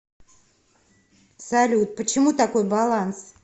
салют почему такой баланс